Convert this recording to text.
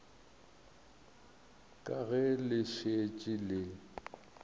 ka ge le šetše le